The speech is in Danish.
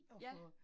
Ja